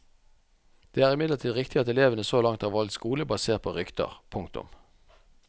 Det er imidlertid riktig at elevene så langt har valgt skole basert på rykter. punktum